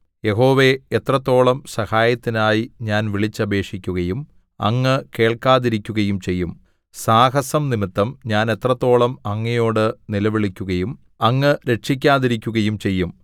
യഹോവേ എത്രത്തോളം സഹായത്തിനായി ഞാൻ വിളിച്ചപേക്ഷിക്കുകയും അങ്ങ് കേൾക്കാതിരിക്കുകയും ചെയ്യും സാഹസംനിമിത്തം ഞാൻ എത്രത്തോളം അങ്ങയോട് നിലവിളിക്കുകയും അങ്ങ് രക്ഷിക്കാതിരിക്കുകയും ചെയ്യും